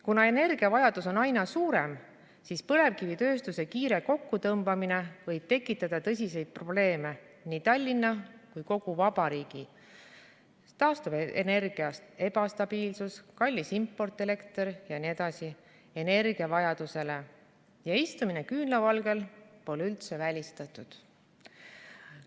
Kuna energiavajadus on aina suurem, siis põlevkivitööstuse kiire kokkutõmbamine võib tekitada tõsiseid probleeme nii Tallinna kui kogu vabariigi energiavajadusele ja istumine küünlavalgel pole üldse välistatud.